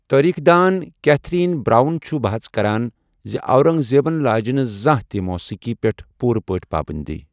تٲریخ دان Catherine Brown چھُ بحث کران زِ اورنگزیبن لٲجہِ نہٕ زانہہ تہِ موسیقی پٮ۪ٹھ پوٗرٕ پٲٹھۍ پابنٛدی ۔